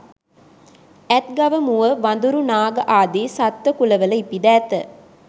ඇත් ගව මුව වඳුරු නාග ආදී සත්ත්ව කුලවල ඉපිද ඇත.